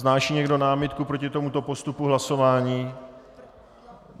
Vznáší někdo námitku proti tomuto postupu hlasování?